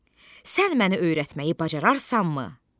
Sən məni öyrətməyi bacararsanmı?